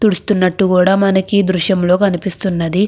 తుడుస్తునట్టు గ మనకు ఎ ద్రుశము లో కనిపెస్తునది. మనకు కనిపెస్తునది.